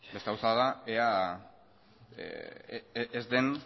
beste gauza bat da ea